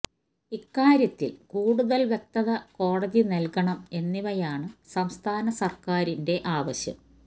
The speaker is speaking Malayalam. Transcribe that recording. ഇക്കാര്യത്തില് കൂടുതല് വ്യക്തത കോടതി നല്കണം എന്നിവയാണ് സംസ്ഥാന സര്ക്കാരിന്റെ ആവശ്യം